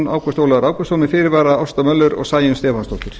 ágúst ólafur ágústsson með fyrirvara ásta möller og sæunn stefánsdóttir